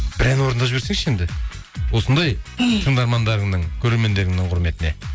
бір ән орындап жіберсеңізші енді осындай тыңдармандарыңның көрермендеріңнің құрметіне